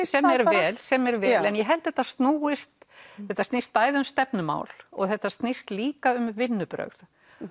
sem er vel sem er vel en ég held þetta snúist þetta snýst bæði um stefnumál og þetta snýst líka um vinnubrögð